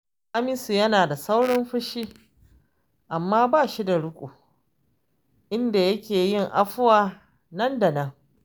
Hamisu yana da saurin fushi, amma ba shi da riƙo, inda yake yin afuwa nan da nan